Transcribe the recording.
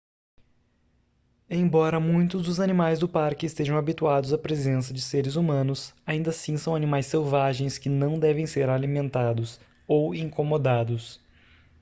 embora muitos dos animais do parque estejam habituados à presença de seres humanos ainda assim são animais selvagens que não devem ser alimentados ou incomodados